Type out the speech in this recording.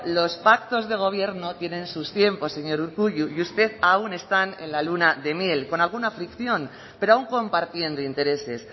los pactos de gobierno tienen sus tiempos señor urkullu y ustedes aún están en la luna de miel con alguna fricción pero aun compartiendo intereses